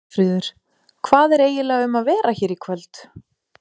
Hólmfríður, hvað er eiginlega um að vera hér í kvöld?